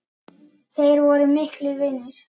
Þeir voru miklir vinir.